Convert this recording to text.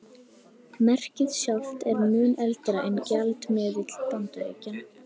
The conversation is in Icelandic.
Merkið sjálft er mun eldra en gjaldmiðill Bandaríkjanna.